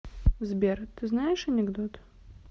сбер ты знаешь анекдот